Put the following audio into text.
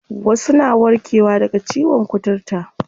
Wasu na warke wa daga ciyon kuturta.